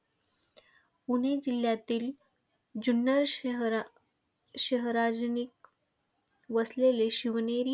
पुणे जिल्ह्यातील जुन्नर शहराशहरानजिक वसलेले शिवनेरी.